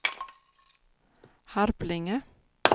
Harplinge